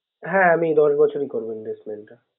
হ্যা আমি দশ বছরে করব Investment টা